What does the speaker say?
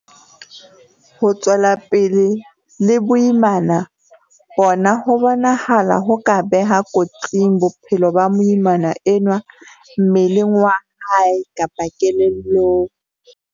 Ho tswela pele le boimana bona ho bonahala ho ka beha kotsing bophelo ba moimana enwa mmeleng wa hae kapa kelellong.